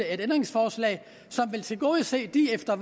et ændringsforslag som vil tilgodese de efter